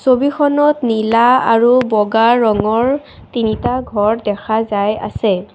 ছবিখনত নীলা আৰু বগা ৰঙৰ তিনিটা ঘৰ দেখা যায় আছে।